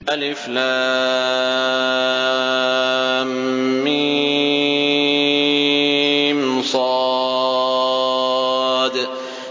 المص